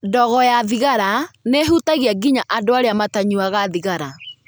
Ndogo ya thigara nĩ ĩhutagia nginya andũ arĩa matanyuaga thigara.